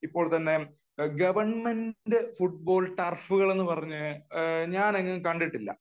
government football ടർഫുകൾ എന്ന് പറഞ്ഞത് ഞാൻ എങ്ങും കണ്ടിട്ടില്ല